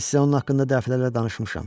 Mən sizə onun haqqında dəfələrlə danışmışam.